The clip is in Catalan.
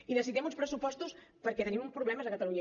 i necessitem uns pressupostos perquè tenim uns problemes a catalunya